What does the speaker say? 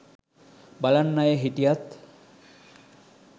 බලන් අය හිටියත්